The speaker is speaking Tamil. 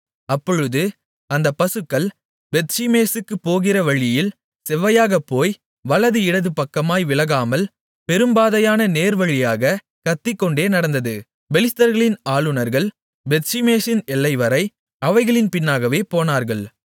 அப்பொழுது அந்தப் பசுக்கள் பெத்ஷிமேசுக்குப் போகிற வழியில் செவ்வையாகப் போய் வலது இடது பக்கமாய் விலகாமல் பெரும்பாதையான நேர்வழியாகக் கத்திக்கொண்டே நடந்தது பெலிஸ்தர்களின் ஆளுனர்கள் பெத்ஷிமேசின் எல்லைவரை அவைகளின் பின்னாகவே போனார்கள்